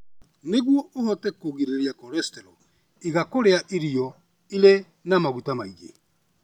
Nĩguo ũhote kũgirĩrĩria cholesterol, iga kũrĩa irio irĩ na maguta maingĩ.